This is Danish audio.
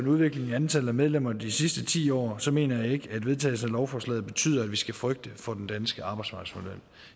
udviklingen i antallet af medlemmer i de sidste ti år mener jeg ikke at vedtagelsen af lovforslaget betyder at vi skal frygte for den danske arbejdsmarkedsmodel